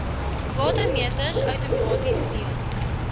watermeters outomaties deel